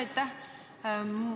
Aitäh!